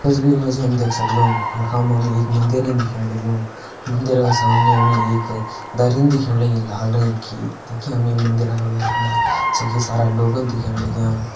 तस्वीर मा जी हम देख सकदौं कि यखमा हम एक मंदिरेन दिखेण लग्युं मंदिर का सामने हमें एक दरिन दिखेण लगीं लाल रंग की तखि हमें मंदिरा का भैर फुणा छकि सारा लोगन दिखेण लग्यां।